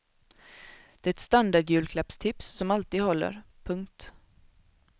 Det är ett standardjulklappstips som alltid håller. punkt